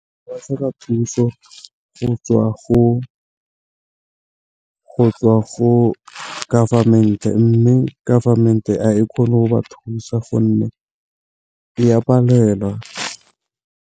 Batlhoka thuso go tswa go government-e, mme government-e a e kgone go ba thusa gonne e a palelwa.